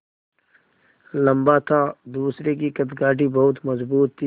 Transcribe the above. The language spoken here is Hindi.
लम्बा था दूसरे की कदकाठी बहुत मज़बूत थी